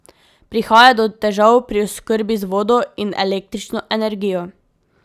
Prihaja do težav pri oskrbi z vodo in električno energijo.